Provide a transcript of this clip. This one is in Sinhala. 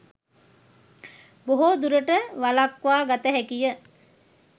බොහෝ දුරට වළක්වා ගත හැකිය.